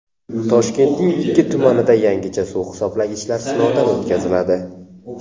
Toshkentning ikki tumanida yangicha suv hisoblagichlar sinovdan o‘tkaziladi.